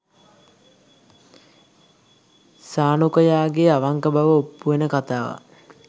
සානුකයාගේ අවංක බව ඔප්පු වෙන කතාවක්.